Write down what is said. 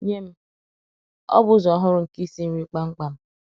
Nye m, ọ bụ ụzọ ọhụrụ nke isi nri kpam kpam